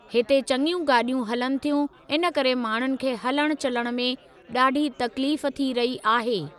हिते चङियूं गाॾियूं हलनि थियूं इन करे माण्हुनि खे हलण चलण में ॾाढी तकलीफ़ थी रही आहे।